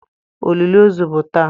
Olili ozu bụ taa.